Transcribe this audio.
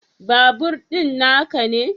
Babur din na ka ne?